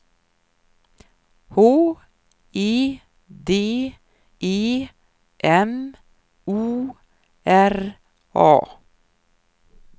H E D E M O R A